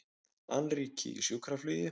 Annríki í sjúkraflugi